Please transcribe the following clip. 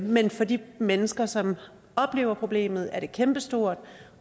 men for de mennesker som oplever problemet er det kæmpestort